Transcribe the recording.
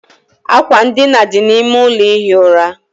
Àkwà edina dị n'ime ụlọ ihi ura.